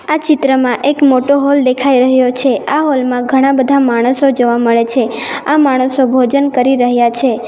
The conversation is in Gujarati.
આ ચિત્રમાં એક મોટો હોલ દેખાઈ રહ્યો છે આ હોલ માં ઘણા બધા માણસો જોવા મળે છે આ માણસો ભોજન કરી રહ્યા છે.